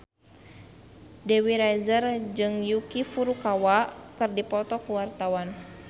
Dewi Rezer jeung Yuki Furukawa keur dipoto ku wartawan